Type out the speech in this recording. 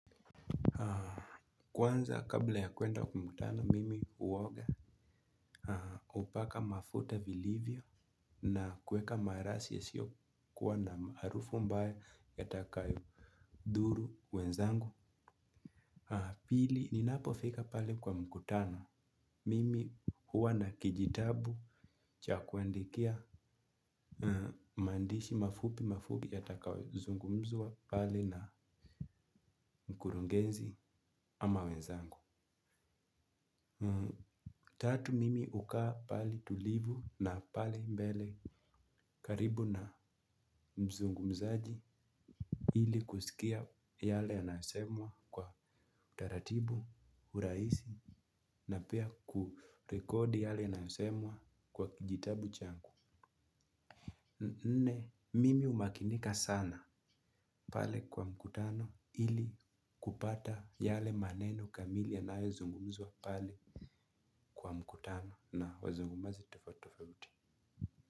Kwanza kabla ya kwenda mkutano mimi huoga hupaka mafuta vilivyo na kuweka marashi yasio kuwa na harufu ambayo yatakayo dhuru wenzangu. Pili ninapo fika pale kwa mkutano mimi huwa na kijitabu chakuandikia maandishi mafupi mafupi yatakayo zungumzwa pale na mkurungenzi ama wenzangu. Tatu mimi ukaa pahali tulivu na pale mbele karibu na mzungumzaji ili kusikia yale yanayosemwa kwa utaratibu urahisi na pia kurekodi yale yanayosemwa kwa kijitabu changu. Nne mimi umakinika sana pale kwa mkutano ili kupata yale maneno kamili yanayo zungumzwa pale kwa mkutano na wazungumazi tofauti tofauti.